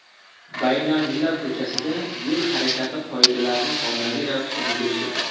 Baynalmilal ko‘chasida yo‘l harakati qoidalarining ommaviy ravishda buzilishi.